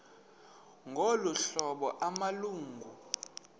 ngolu hlobo amalungu